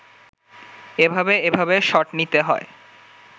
এভাবে এভাবে শট নিতে হয়